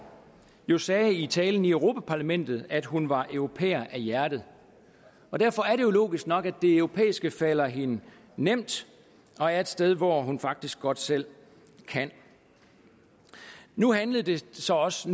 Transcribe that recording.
jo sagde i talen i europa parlamentet at hun var europæer af hjertet og derfor er det jo logisk nok at det europæiske falder hende nemt og er et sted hvor hun faktisk godt selv kan nu handlede det så også